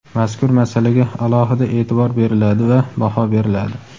mazkur masalaga alohida e’tibor beriladi va baho beriladi.